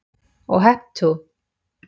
Og hep tú.